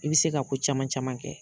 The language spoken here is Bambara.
I bɛ se k'a ko caman caman kɛ.